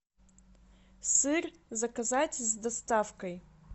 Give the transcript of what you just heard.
сыр заказать с доставкой